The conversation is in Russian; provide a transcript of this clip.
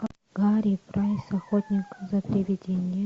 гарри прайс охотник за привидениями